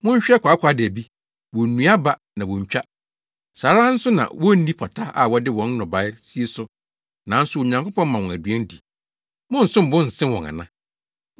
Monhwɛ kwaakwaadabi, wonnua aba na wontwa. Saa ara nso na wonni pata a wɔde wɔn nnɔbae sie so, nanso Onyankopɔn ma wɔn aduan di. Monsom bo nsen wɔn ana?